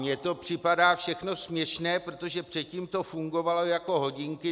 Mně to připadá všechno směšné, protože předtím to fungovalo jako hodinky.